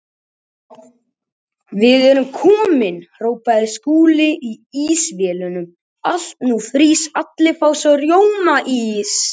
Hvað hann var mér.